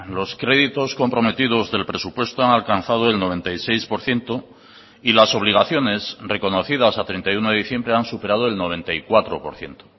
los créditos comprometidos del presupuesto han alcanzado el noventa y seis por ciento y las obligaciones reconocidas a treinta y uno de diciembre han superado el noventa y cuatro por ciento